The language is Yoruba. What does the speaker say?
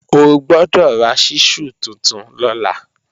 Ó gbọ́dọ̀ ra ṣísù tuntun lọ́la!